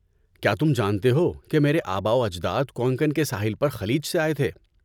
کیا تم جانتے ہو کہ میرے آباؤ اجداد کونکن کے ساحل پر خلیج سے آئے تھے؟